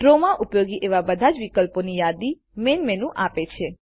ડ્રોમાં ઉપયોગી એવા બધા જ વિકલ્પોની યાદી મેઈન મેનુ આપે છે